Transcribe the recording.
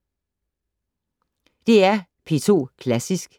DR P2 Klassisk